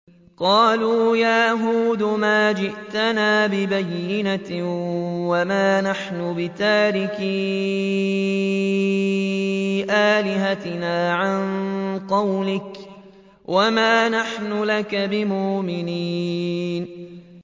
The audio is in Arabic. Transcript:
قَالُوا يَا هُودُ مَا جِئْتَنَا بِبَيِّنَةٍ وَمَا نَحْنُ بِتَارِكِي آلِهَتِنَا عَن قَوْلِكَ وَمَا نَحْنُ لَكَ بِمُؤْمِنِينَ